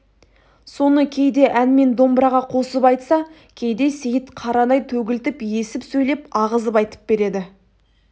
соны кейде ән мен домбыраға қосып айтса кейде сейіт қарадай төгілтіп есіп сөйлеп ағызып айтып береді